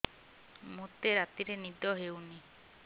ମୋତେ ରାତିରେ ନିଦ ହେଉନି